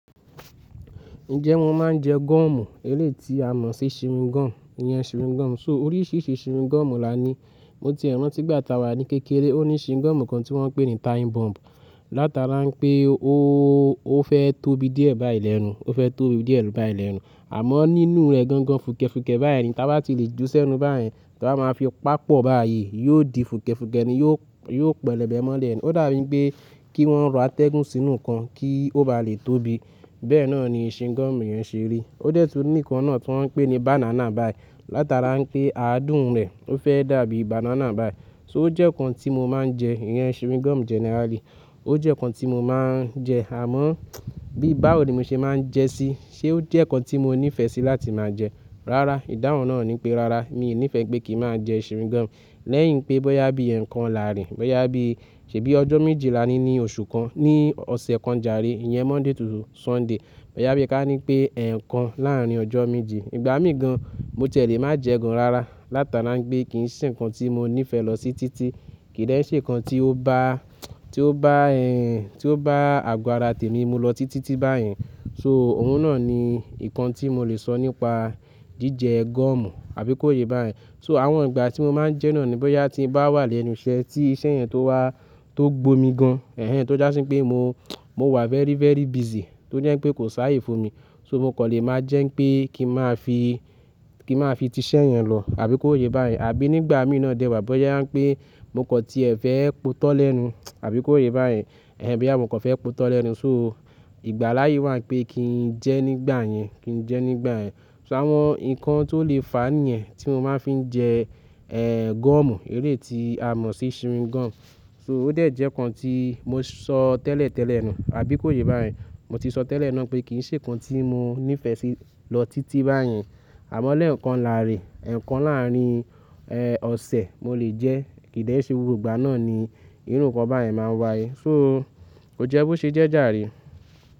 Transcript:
Ǹjẹ́ wọ́n máa ń jẹ gọ́ọ̀mù? Eléyìí ti a mọ̀ sí chewing gum, ìyẹn chewing gum. So oríṣìíríṣìí chewing gum là ní. Mo tiẹ rántí ìgbà táa wà ní kékeré, ó ní chewing gum kan tí wọ́n ń pè ní time bomb. Látara pé ó fẹ́ tóbi díẹ̀ báyìí lẹ́nu, ó fẹ́ tóbi díẹ̀ báyìí lẹ́nu. Àmọ́ nínú rẹ̀ gangan fùkẹ̀fùkẹ̀ báyìí ni. Táa bá ti lè jù sẹ́nu báyìí, tá bá máa fi pa pọ̀ báyìí, yóò di fùkẹ̀fùkẹ̀ ni, yóò, yóò pẹlẹbẹ mọ́lé ni. Ó dà bí pé kí wọ́n rọ atẹ́gùn sínú nkán kí ó ba lè tóbi. Bẹ́ẹ̀ náà ni chewing gum yẹn ṣe rí. Ó dẹ̀ tú ní ìkan náà tí wọ́n ń pè ní banana bai. Látara n pé àádùn rẹ̀ ó fẹ́ dàbí banana bai. So ó jẹ́ nǹkan tí mo máa ń jẹ, ìyẹn chewing gum generally. Ó jẹ́ nǹkan tí mo máa ń jẹ, àmọ́ bí bá ò rí mi ṣe máa ń jẹ sí, ṣé ó jẹ́ nǹkan tí mo nífẹ̀ẹ́ sí láti máa jẹ? Rárá, ìdáhùn náà ni pé rárá, mi nífẹ̀ẹ́ pé kí n máa jẹ chewing gum. Lẹ́yìn pé bọ́yá bí ẹ̀ẹ̀kan láàárin, bọ́yá bí, ṣè bí ọjọ́ méje lání ni oṣù kan, ní ọ̀sẹ̀ kan jàre, ìyẹn Monday to Sunday, bọ́yá bí kí á ní pé ẹ̀ẹ̀kan láàrín ọjọ́ méje, ìgbà mí gán, mo ti ẹ̀ lé má jẹ ẹ́ gán rárá. Látara pé kì n ṣe ǹkan tí mo nífẹ̀ẹ́ lọ sí títí. Kì í dẹ́ ṣe ǹkan tí ó bá, tí ó bá, tí ó bá àgọ ara tèmi mú lọ títí báyìí. So òun náà ni ǹkan tí mo lè sọ nípa jíjẹ gọ́ọ̀mù àbí kó yé bá yẹn. So àwọn ìgbà tí mo máa ń jẹ́ náà ni bọ́yá tí mo bá wà lẹ́nu iṣẹ́ tí iṣẹ́ yẹn tó wá, tó gbómi gan-an. Tó jásí pé mo, mo wà very, very busy. Tó jẹ́ pé kò sáyé fún mi. Mo kò lè máa jẹ́ pé kí n máa fi, kí máa fi ti iṣẹ́ yẹn lọ àbí kó yé bá yẹn. Àbí nígbà mí náa dẹwàá bọ́yá pé mo kọ̀ tí ẹ fẹ́ po itọ́ lẹ́nu àbí kó yé bá yẹn. Bóyá mo kan fẹ́ po tọ́ lẹ́nu. So ìgbàlàyè wà pé kí n jẹ́ nígbà yẹn, kí n jẹ́ nígbà yẹn. So àwọn ǹkan tó lè fa níyẹn tí mo máa fi ń jẹ gọ́ọ̀mù, eléyí tí a mọ̀ sí chewing gum. So ó dẹ̀ jẹ́ nǹkán tí mo sọ tẹ́lẹ̀tẹ́lẹ̀ náà àbí kó yé bá yẹn. Mo ti sọ tẹ́lẹ̀ náà pé kì n ṣe nǹkan tí mo nífẹ̀ẹ́ sí lọ títí bá yen. Àmọ́ lẹ́ẹ̀kan láárín, ẹ̀ẹ̀kan láàrín ọ̀sẹ̀ mo lè jẹ́. Kì n dẹ́ ṣe gbogbo ìgbà náà ni irú nǹkan báyen máa ń wáyé. So ó jẹ́ bó ṣe jẹ́ jàre.